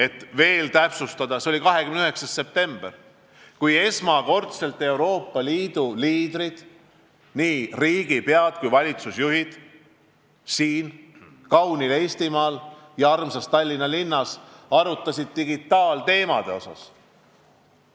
Kui veel täpsem olla, siis see oli 29. september, kui Euroopa Liidu liidrid, nii riigipead kui valitsusjuhid, arutasid siin kaunil Eestimaal ja meie armsas Tallinna linnas digitaaltemaatikat.